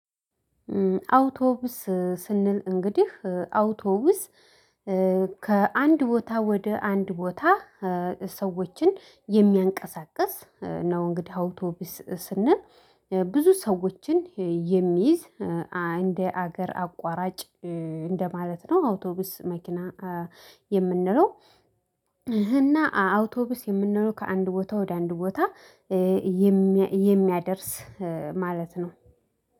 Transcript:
አውቶብስ ስንል እንግዲህ አውቶብስ ከአንድ ቦታ ወደ አንድ ቦታ ሰዎችን የሚያንቀሳቅስ ነው። እንግዲህ አውቶብስ ስንል ብዙ ሰዎችን የሚይዝ እንደ አገር አቋራጭ እንደ ማለት ነው። አውቶብስ መኪና የምንለው። እና አውቶብስ የምንለው ከአንድ ቦታ ወደ አንድ ቦታ የሚያደርስ ማለት ነው